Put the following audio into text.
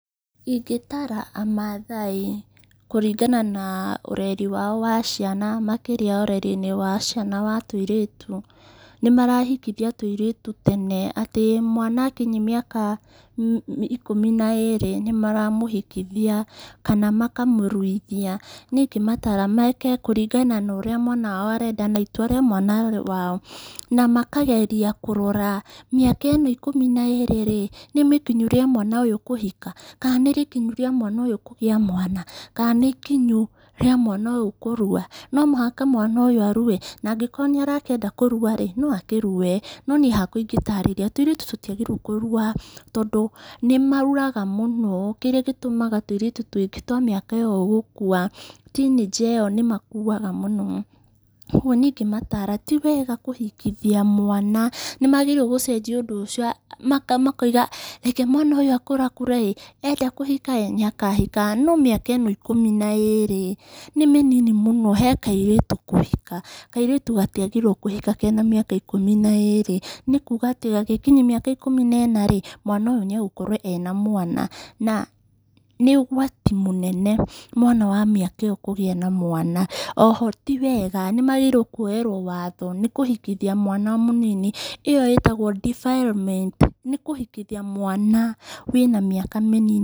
Ingĩtara amathai kuringana na ũreri wao wa ciana makĩria ũrerinĩ wa ciana wa tũirĩtu. Nĩmarahikithia tũirĩtu tene atĩ mwana akinyia mĩaka, ikũmi na ĩrĩ, nĩmaramũhikithia, kana makamũruithia. Niĩ ingĩmatara meke kũringana na ũrĩa mwana wao arenda, na itua rĩa mwana wao, na makageria kũrora mĩaka ĩno ikũmi na ĩrĩ rĩ, nĩmĩkinyu rĩa mwana ũyũ kũhika ka nĩrĩkinyu rĩa mwana ũyũ kũgĩa mwana, kana nĩ ikinyu rĩa mwana ũyũ kũrua. No mũhaka mwana ũyũ arue, na angĩkorwo nĩarakĩenda kũrua rĩ, noakĩrue. No niĩ hakwa ingĩtarĩria tũirĩtu tũtiagĩrĩire kũrua tondũ nĩmauraga mũno, kĩrĩa gĩtũmaga tũirĩtu twa mĩaka ĩyo gũkua teenager ĩyo nĩmakuaga mũno. Niĩ ingĩmatara tiwega kũhikithia mwana, nĩmagĩrĩire gũcenjia ũndũ ũcio a makama makoiga reke mwana ũyũ akũrakũre ĩ, enda kũhika ĩ, nĩakahika, no mĩaka ĩno ikũmi na ĩrĩ nĩmĩnini mũno he kairĩtu kũhika. Kairĩtu gatiagĩrĩire kũhika kena mĩaka ikũmi na ĩrĩ, nĩkuga atĩ gagĩkinyia mĩaka ikũmi na ĩna rĩ, mwana ũyũ nĩagũkorwo ena mwana na nĩ ũgwati mũnene mwana wa mĩaka ĩyo kũgĩa na mwana. Oho ti wega, nĩmagĩrĩirwo kuoyerwo wothe nĩkũhikithia mwana mũnini. Ĩyo ĩtagwo defilement nĩkũhikithia mwana wĩna mĩaka mĩnini.